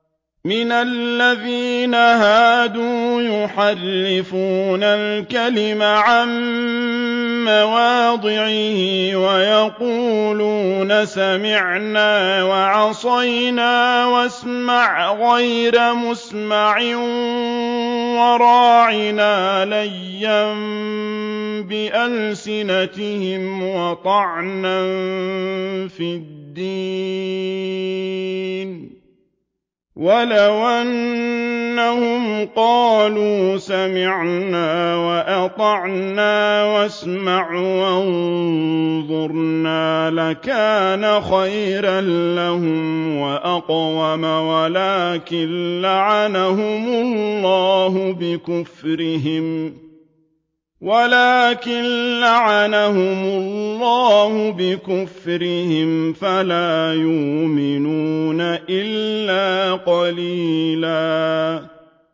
مِّنَ الَّذِينَ هَادُوا يُحَرِّفُونَ الْكَلِمَ عَن مَّوَاضِعِهِ وَيَقُولُونَ سَمِعْنَا وَعَصَيْنَا وَاسْمَعْ غَيْرَ مُسْمَعٍ وَرَاعِنَا لَيًّا بِأَلْسِنَتِهِمْ وَطَعْنًا فِي الدِّينِ ۚ وَلَوْ أَنَّهُمْ قَالُوا سَمِعْنَا وَأَطَعْنَا وَاسْمَعْ وَانظُرْنَا لَكَانَ خَيْرًا لَّهُمْ وَأَقْوَمَ وَلَٰكِن لَّعَنَهُمُ اللَّهُ بِكُفْرِهِمْ فَلَا يُؤْمِنُونَ إِلَّا قَلِيلًا